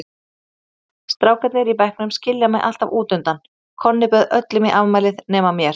Mamma, strákarnir í bekknum skilja mig alltaf útundan, Konni bauð öllum í afmælið nema mér.